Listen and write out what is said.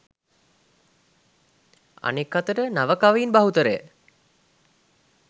අනෙක් අතට නව කවීන් බහුතරය